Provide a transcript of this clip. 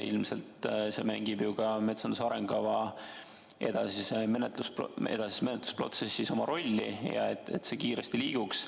Ilmselt see mängib ka metsanduse arengukava edasise menetluse protsessis oma rolli, et see kiiresti liiguks.